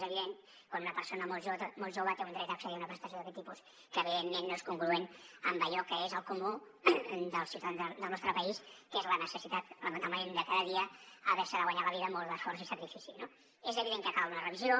és evident quan una persona molt jove té un dret a accedir a una prestació d’aquest tipus que evidentment no és congruent amb allò que és el comú dels ciutadans del nostre país que és la necessitat lamentablement de cada dia haver se de guanyar la vida amb molt d’esforç i sacrifici no és evident que cal una revisió